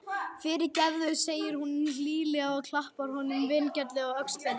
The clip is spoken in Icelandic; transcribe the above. Fyrirgefðu, segir hún hlýlega og klappar honum vinalega á öxlina.